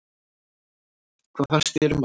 Hvað fannst þér um hann?